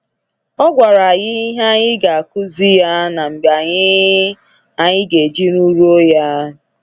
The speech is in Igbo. Ọ gwara anyị ihe anyị ga akuzi ya na mgbe anyị anyị ga eji ruruo ya.